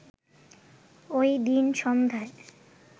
ওই দিন সন্ধ্যায়